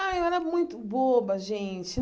Ah, eu era muito boba, gente.